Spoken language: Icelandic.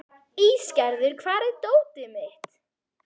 Ísgerður, hvar er dótið mitt?